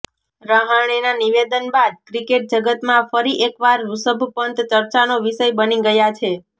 રહાણેના નિવેદન બાદ ક્રિકેટ જગતમાં ફરી એકવાર ઋષભ પંત ચર્ચાનો વિષય બની ગયા છે